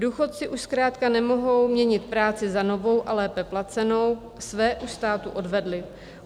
Důchodci už zkrátka nemohou měnit práci za novou a lépe placenou, své už státu odvedli.